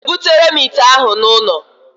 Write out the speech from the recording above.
Ị ga-ebutere m ite ahụ n'ụlọ?